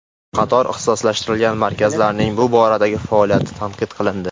Qator ixtisoslashtirilgan markazlarning bu boradagi faoliyati tanqid qilindi.